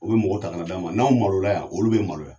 U bɛ mɔgɔ ta ka na d'an ma n'anw malola yan olu bɛ maloya.